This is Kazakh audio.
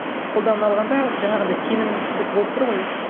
қолдана алғанда жаңағындай сенімсіздік болып тұр ғой